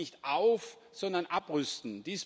er sollte nicht auf sondern abrüsten.